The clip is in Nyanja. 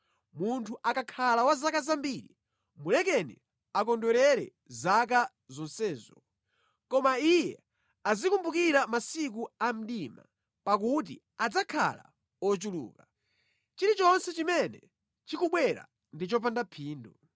Munthu akakhala wa zaka zambiri, mulekeni akondwerere zaka zonsezo, koma iye azikumbukira masiku a mdima, pakuti adzakhala ochuluka. Chilichonse chimene chikubwera ndi chopanda phindu.